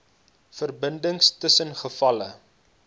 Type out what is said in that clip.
verbindings tussen gevalle